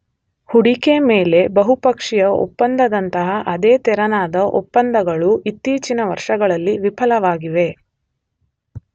ಹೂಡಿಕೆ ಮೇಲೆ ಬಹುಪಕ್ಷೀಯ ಒಪ್ಪಂದ ದಂತಹ ಅದೇ ತೆರನಾದ ಒಪ್ಪಂದಗಳೂ ಇತ್ತೀಚಿನ ವರ್ಷಗಳಲ್ಲಿ ವಿಫಲವಾಗಿವೆ.